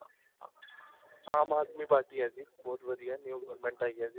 ਆਮ Aadmi party ਹੈ ਜੀ ਬਹੁਤ ਵਧੀਆ new government ਆਈ ਹੈ ਜੀ